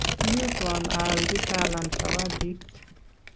kiyutwon aalchi Talam zawadit.